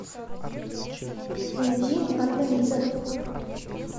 найди аннализа